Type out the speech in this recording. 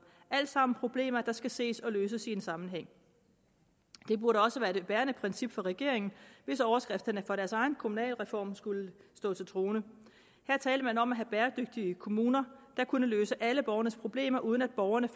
alt sammen problemer der skal ses og løses i en sammenhæng det burde også være det bærende princip for regeringen hvis overskrifterne fra deres egen kommunalreform skulle stå til troende her talte man om at have bæredygtige kommuner der kunne løse alle borgernes problemer uden at borgerne